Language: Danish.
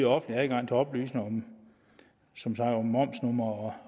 offentlig adgang til oplysninger om som sagt momsnummer og